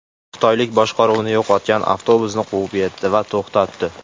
Xitoylik boshqaruvni yo‘qotgan avtobusni quvib yetdi va to‘xtatdi.